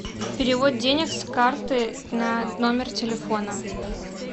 перевод денег с карты на номер телефона